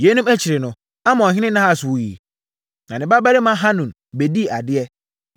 Yeinom akyiri no, Amonhene Nahas wuiɛ, na ne babarima Hanun bɛdii adeɛ.